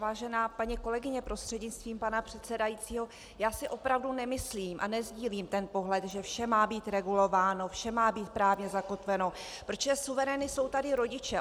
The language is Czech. Vážená paní kolegyně prostřednictvím pana předsedajícího, já si opravdu nemyslím a nesdílím ten pohled, že vše má být regulováno, vše má být právně zakotveno, protože suverény jsou tady rodiče.